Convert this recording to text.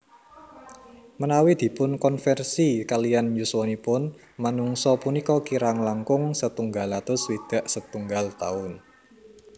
Menawi dipunkonversi kaliyan yuswanipun manungsa punika kirang langkung setunggal atus swidak setunggal taun